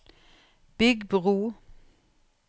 bygg bro